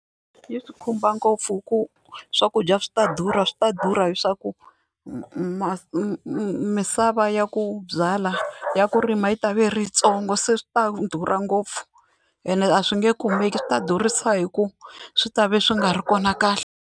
Yi swi khumba ngopfu hi ku swakudya swi ta durha swi ta durha leswaku misava ya ku byala ya ku rima yi ta va yi ri yitsongo se swi ta durha ngopfu ene a swi nge kumeki swi ta durhisa hi ku swi ta va swi nga ri kona kahle.